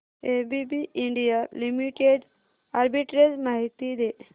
ABB India limited arbitrage माहिती दे